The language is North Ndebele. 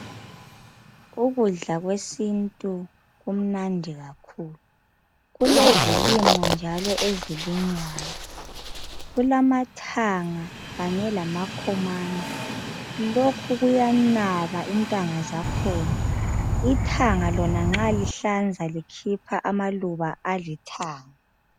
Ukudla kwesintu kumnandi kakhulu. Kulezilimo njalo ezilinywayo. Kulamathanga kanye lamakhomani. Lokhu kuyanaba intanga zakhona. Ithanga lona nxa lihlanza likhipha amaluba alithanga.